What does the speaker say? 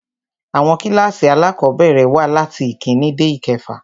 Àwọn kílkàsì alákọ̀bẹ̀rẹ̀ wà latí ìkíni dé ìkefà.